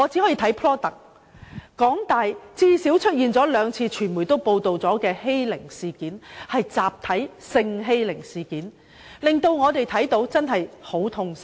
香港大學最少已出現兩次傳媒均有報道的集體欺凌事件，這實在令我們感到很痛心。